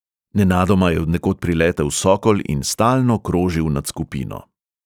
Nenadoma je od nekod priletel sokol in stalno krožil nad skupino.